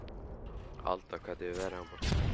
Alda, hvernig er veðrið á morgun?